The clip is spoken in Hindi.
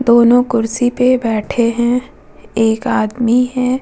दोनों कुर्सी पे बैठे है एक आदमी है ।